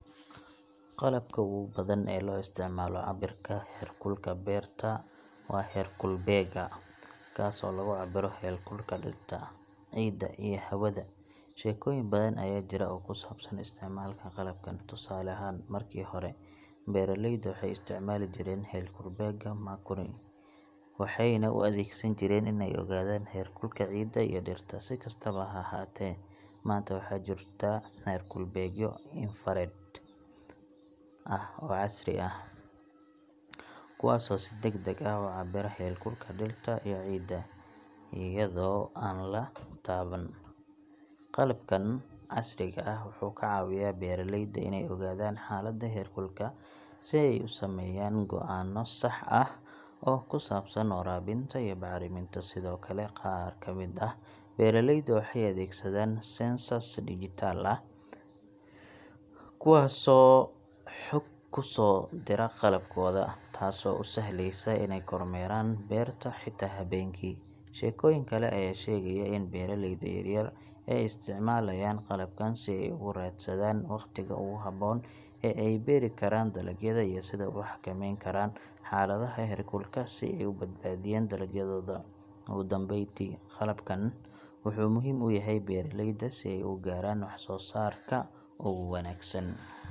Qalabka ugu badan ee loo isticmaalo cabbirka heerkulka beerta waa heerkulbeegga, kaasoo lagu cabbiro heerkulka dhirta, ciidda, iyo hawada. Sheekooyin badan ayaa jira oo ku saabsan isticmaalka qalabkan. Tusaale ahaan, markii hore, beeraleyda waxay isticmaali jireen heerkulbeegga mercury, waxayna u adeegsan jireen in ay ogaadaan heerkulka ciidda iyo dhirta. Si kastaba ha ahaatee, maanta waxaa jira heerkulbeegyo infrared ah oo casri ah, kuwaasoo si degdeg ah u cabbira heerkulka dhirta iyo ciidda iyadoo aan la taaban. Qalabkan casriga ah wuxuu ka caawiyaa beeraleyda inay ogaadaan xaalada heerkulka si ay u sameeyaan go'aano sax ah oo ku saabsan waraabinta iyo bacriminta. Sidoo kale, qaar ka mid ah beeraleyda waxay adeegsadaan sensors dijital ah kuwaasoo xog ku soo dira qalabkooda, taasoo u sahleysa inay kormeeraan beerta xitaa habeenkii. Sheekooyin kale ayaa sheegaya in beeraleyda yaryar ay isticmaalayaan qalabkan si ay ugu raadsadaan waqtiga ugu haboon ee ay beeri karaan dalagyada iyo sida ay u xakameyn karaan xaaladaha heerkulka si ay u badbaadiyaan dalagyadooda. Ugu dambeyntii, qalabkan wuxuu muhiim u yahay beeraleyda si ay u gaadhaan wax-soo-saarka ugu wanaagsan.